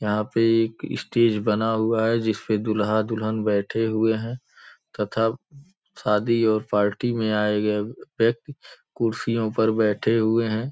यहां पे एक स्टेज बना हुआ है जिस पर दुल्हा दुल्हन बैठे हुए हैं तथा शादी और पार्टी में आए गए व्यक्तिगत कुर्सियों पर बैठे हुए हैं।